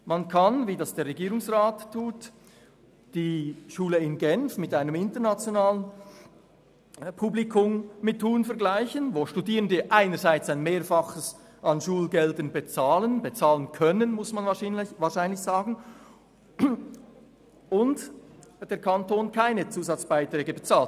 Man kann, wie es der Regierungsrat tut, die Schule in Genf mit ihrem internationalen Publikum anschauen, wo die Studierenden einerseits ein Mehrfaches an Schulgeld bezahlen – bezahlen können, muss man wahrscheinlich sagen – und der Kanton keine Zusatzbeiträge bezahlt.